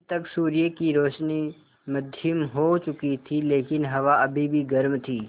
अब तक सूर्य की रोशनी मद्धिम हो चुकी थी लेकिन हवा अभी भी गर्म थी